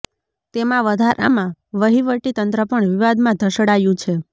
તેમાં વધારામાં વહીવટી તંત્ર પણ વિવાદમાં ઢસડાયુ છે